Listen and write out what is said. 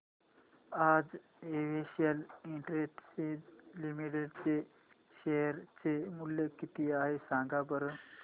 आज Excel Industries Limited चे share चे मूल्य किती आहे सांगा बरं